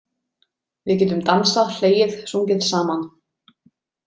Við getum dansað, hlegið, sungið saman.